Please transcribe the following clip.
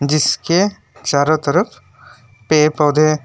इसके चारों तरफ पे पौधे--